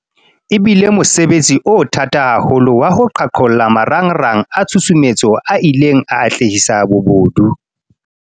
E bile mosebetsi o thata haholo wa ho qhaqholla marangrang a tshusumetso a ileng a atlehisa bobodu.